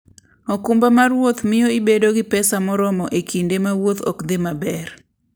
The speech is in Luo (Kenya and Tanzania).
okumba mar wuoth miyo ibedo gi pesa moromo e kinde ma wuoth ok dhi maber.